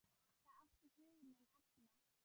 Það átti hug minn allan.